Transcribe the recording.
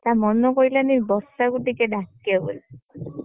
ତା ମନ ପଡିଲାନି ବର୍ଷାକୁ ଟିକେ ଡାକିବାକୁ ବୋଲି।